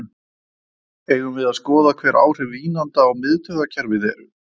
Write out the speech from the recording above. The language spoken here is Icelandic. Eigum við að skoða hver áhrif vínanda á miðtaugakerfið eru?